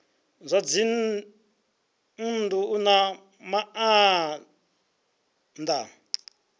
zwa dzinnu u na maana